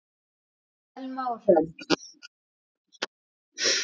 Thelma og Hrönn.